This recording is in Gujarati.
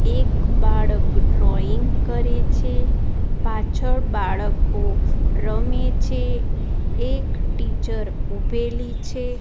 એક બાળક ડ્રોઈંગ કરે છે પાછળ બાળકો રમે છે એક ટીચર ઊભેલી છે.